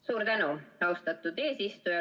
Suur tänu, austatud eesistuja!